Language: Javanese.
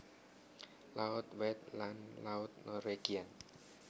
Laut White lan Laut Norwegian